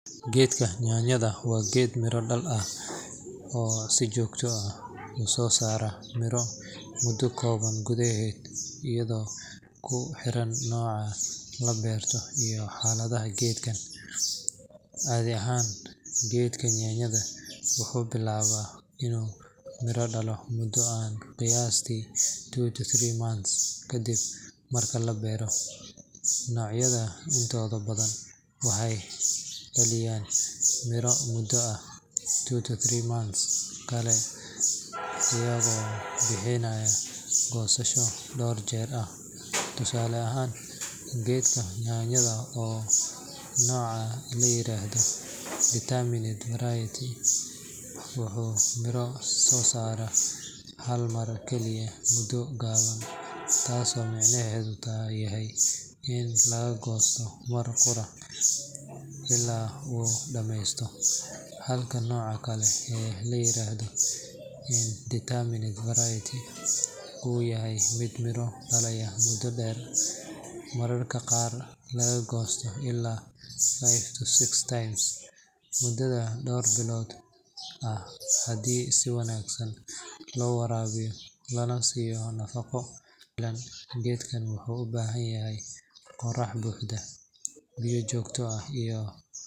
Geedka yaanyada waa geed miro-dhal ah oo si joogto ah u soo saara miro muddo kooban gudaheed, iyadoo ku xiran nooca la beerto iyo xaaladaha deegaanka. Caadi ahaan, geedka yaanyada wuxuu bilaabaa inuu miro dhalo muddo ah qiyaastii two to three months ka dib marka la beero. Noocyada intooda badan waxay dhaliyaan miro muddo ah two to three months kale iyagoo bixiya goosasho dhowr jeer ah. Tusaale ahaan, geedka yaanyada ee nooca la yiraahdo determinate variety wuxuu miro soo saaraa hal mar kaliya muddo gaaban, taasoo micnaheedu yahay in laga goosto mar qura ilaa uu dhammeysto. Halka nooca kale ee la yiraahdo indeterminate variety uu yahay mid miro dhalaya muddo dheer, mararka qaarna laga goosto ilaa five to six times muddada dhowr bilood ah haddii si wanaagsan loo waraabiyo lana siiyo nafaqo ku filan. Geedkan wuxuu u baahan yahay qorrax buuxda, biyo joogto ah iyo.